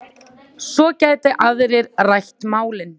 Svo geti aðrir rætt málin.